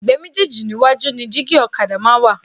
Ẹ̀gbẹ́ méjéèjì níwájú ni dígí ọ̀kadà máa ń wà